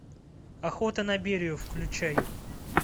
охота на берию включай